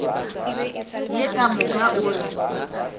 ye ka moka o re